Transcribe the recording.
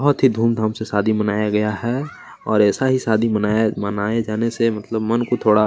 बहुत ही धूमधाम से शादी मनाया गया है और ऐसा ही शादी मनाया मनाय जाने से मतलब मन को थोड़ा --